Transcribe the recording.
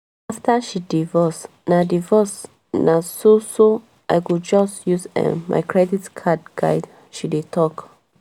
after she divorce na divorce na so so "i go just use um my credit card guide" she dey talk